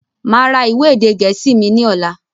Máa ra ìwé èdè gẹ̀ẹ́sì mi lọ́la.